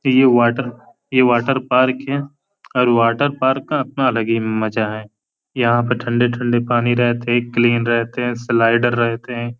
ये वाटर ये water park है और वाटर पार्क का अपना ही अलग मज़ा है। यहाँ पे ठंडे-ठंडे पानी रहते क्लीन रहते हैं। स्लाइडर रहते हैं।